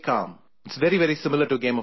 It is very, very similar to a game of Chess